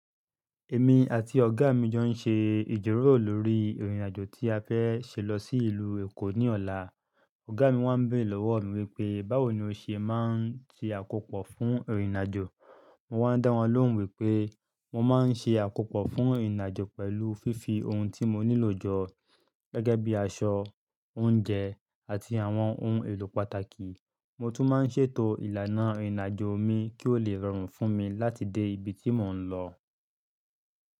Èmi àti ọ̀gá mi jọ ń ṣe ìjíròrò lórí ìrìnàjò tí a fẹ́ ṣe lọ sí ìlú Èkó ní ọ̀la. Ọ̀gá mi wá ń béèrè lọ́wọ́ mi wípé, báwo ni o ṣe máa ń ṣe àkópọ̀ fún ìrìnàjò? Mo wá ń dá wọn lóhùn wípé, mo máa ń ṣe àkópọ̀ fún ìrìnàjò pẹ̀lú fífi ohun tí mo nílò jọ, gẹ́gẹ́ bí i aṣọ, oúnjẹ, àti àwọn ohun èlò pàtàkì. Mo tún máa ń ṣètò ìlànà ìrìnàjò mi kí ó lè rọrùn fún mi láti dé ibi tí mò ń lọ.